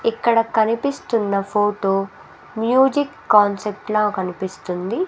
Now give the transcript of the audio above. ఇక్కడ కనిపిస్తున్న photo music concept లా కనిపిస్తుంది.